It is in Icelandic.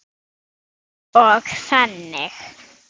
Og þannig.